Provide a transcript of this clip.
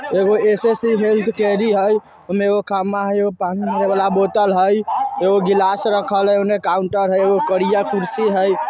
एगो स.स. हेल्थ हई उमे खम्बा हई उमे पानी वाला बोतल हई एको गिलास रखा हई उने काउन्टर हई करिया कुर्सी हई।